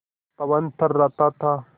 पवन थर्राता था